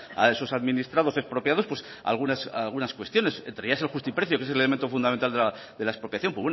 a esos administrados expropiados pues algunas cuestiones entre ellas el justiprecio que es el elemento fundamental de la expropiación